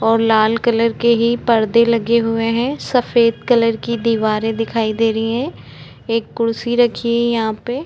और लाल कलर के ही पर्दे लगे हुए है सफ़ेद कलर की दीवारे दे रही है एक कुर्सी रखी है यहाँ पे --